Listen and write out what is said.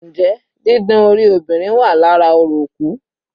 Njẹ́ didán orí obìnrin wà lára orò òkú?